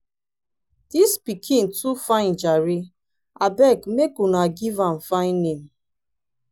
dis pikin too fine jare abeg make una give am fine name